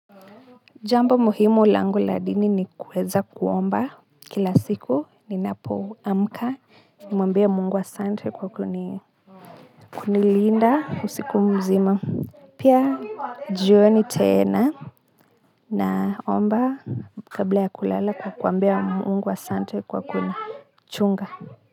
Jambo muhimu langu la dini ni kuweza kuomba kila siku ninapo amka nimuambie Mungu asante kwa kuni linda usiku mzima. Pia jioni tena naomba kabla ya kulala kwa kuambia Mungu asante kwa kuni chunga.